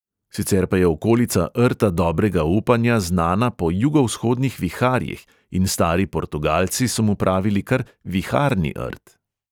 Sicer pa je okolica rta dobrega upanja znana po jugovzhodnih viharjih in stari portugalci so mu pravili kar viharni rt.